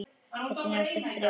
Þetta er neðsta þrepið.